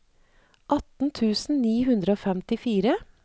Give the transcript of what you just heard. atten tusen ni hundre og femtifire